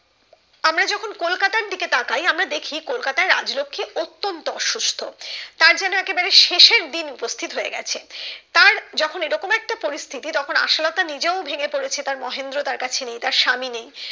আমরা যখন কলকাতার দিকে তাকায় আমরা দেখি কলকাতার রাজলক্ষী অতন্ত অসুস্থ তার যেন একেবারে শেষের দিন উপস্থিত হয়ে গেছে তার যখন এরকম একটা পরিস্থিতি তখন আশালতা নিজেও ভেঙ্গে পড়েছে তার মহেন্দ্র তার কাছে নেই তার স্বামী নেই